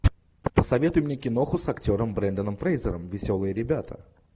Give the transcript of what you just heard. посоветуй мне киноху с актером бренданом фрейзером веселые ребята